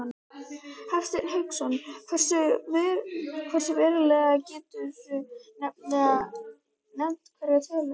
Hafsteinn Hauksson: Hversu verulega, geturðu nefnt einhverjar tölur?